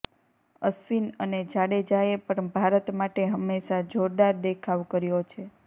અશ્વિન અને જાડેજાએ પણ ભારત માટે હંમેશા જોરદાર દેખાવ કર્યો છે